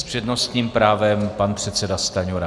S přednostním právem pan předseda Stanjura.